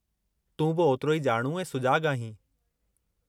तूं बि ओतिरो ई ॼाणू ऐं सुजाॻु आहीं।